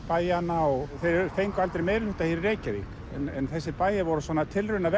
bæjanna og þeir fengu aldrei meirihluta hér í Reykjavík en þessir bæir voru svona